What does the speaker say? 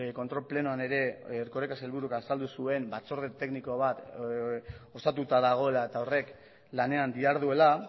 kontrol plenoan ere erkoreka sailburuk azaldu zuen batzorde tekniko bat osatuta dagoela eta horrek lanean diharduela